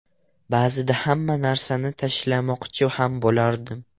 Ba’zida hamma narsani tashlamoqchi ham bo‘lardim.